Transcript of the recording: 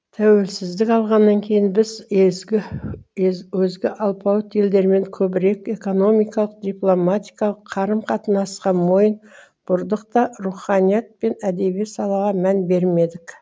тәуелсіздік алғаннан кейін біз езгі өзге алпауыт елдермен көбірек экономикалық дипломатиялық қарым қатынасқа мойын бұрдықта руханият пен әдеби салаға мән бермедік